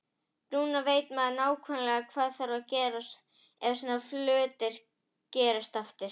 Núna veit maður nákvæmlega hvað þarf að gera ef svona hlutir gerast aftur.